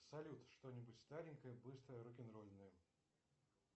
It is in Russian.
салют что нибудь старенькое быстрое рок н ролльное